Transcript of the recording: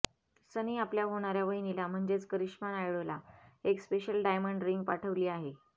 सनी आपल्या होणाऱ्या वहिनीला म्हणजेच करिश्मा नायडूला एक स्पेशल डायमंड रिंग पाठवली आहे